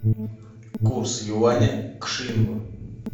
курс юаня к шиллингу